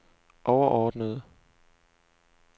overordnede